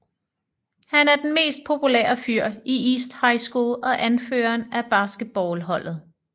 Han er den mest populære fyr i East High School og anføreren af basketball holdet